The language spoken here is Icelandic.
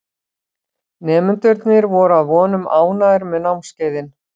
Nemendurnir voru að vonum ánægðir með námskeiðin.